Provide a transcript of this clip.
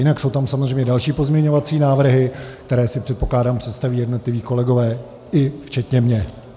Jinak jsou tam samozřejmě další pozměňovací návrhy, které si, předpokládám, představí jednotliví kolegové i včetně mě.